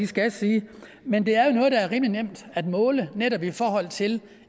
skal sige men det er jo noget der er rimelig nemt at måle netop i forhold til